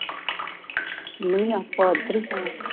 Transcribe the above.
ਨੀਂ ਆਪਹੁਦਰੀ ਹਾਂ